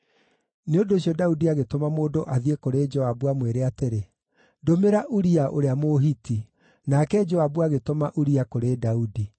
Nĩ ũndũ ũcio Daudi agĩtũma mũndũ athiĩ kũrĩ Joabu amwĩre atĩrĩ: “Ndũmĩra Uria ũrĩa Mũhiti.” Nake Joabu agĩtũma Uria kũrĩ Daudi.